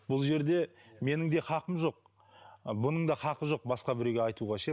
бұл жерде менің де хақым жоқ бұның да хақы жоқ басқа біреуге айтуға ше